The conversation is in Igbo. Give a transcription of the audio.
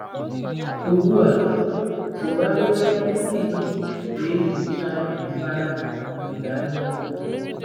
Ugbu a tụgharịa isi gị wee nyochaa mbara ọdịda anyanwụ.